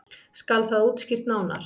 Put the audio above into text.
Skal það útskýrt nánar.